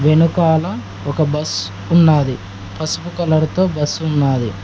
వెనకాల ఒక బస్ ఉన్నాది పసుపు కలర్ తో బస్సు ఉన్నది.